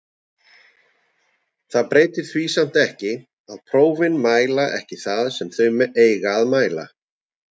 Það breytir því samt ekki að prófin mæla ekki það sem þau eiga að mæla.